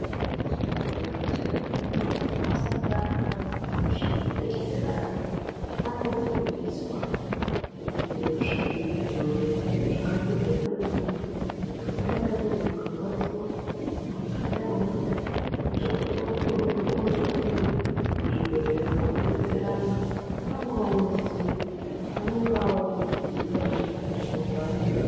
Madhokodhera nemanesi asati atanga kusha kudetsera vantu anofundiswa ngezvidhori zvakatodzana nemuntu kuti unodayi muntu ukarwadziwa, muntu ukadai unodai kuitire kutire kuti oozoone oozopinde muzvibhedhlera kudetsera vantu anonga onoziya, anonga ooziya ngekufundiswa kwaanonga a..